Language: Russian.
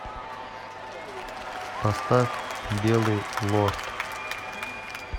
поставь белый лорд